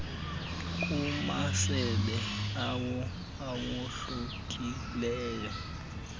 kumasebe awo awohlukileyo